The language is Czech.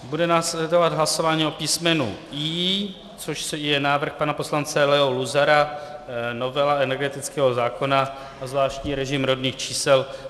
Bude následovat hlasování o písmenu I, což je návrh pana poslance Leo Luzara, novela energetického zákona a zvláštní režim rodných čísel.